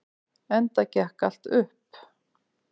Enda gekk allt upp.